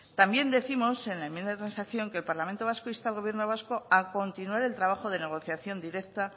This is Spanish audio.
también décimos en la enmienda de transacción que el parlamento vasco insta al gobierno vasco a continuar el trabajo de negociación directa